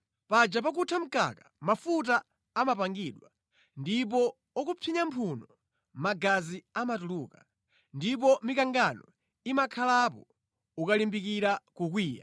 Paja pakutha mkaka mafuta amapangidwa, ndipo ukapsinya mphuno, magazi amatuluka, ndipo mikangano imakhalapo ukalimbikira kukwiya.”